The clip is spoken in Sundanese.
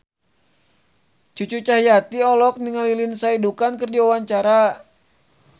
Cucu Cahyati olohok ningali Lindsay Ducan keur diwawancara